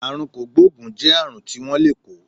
Àrùn kògbóògùn jẹ́ àrùn tí wón lè kó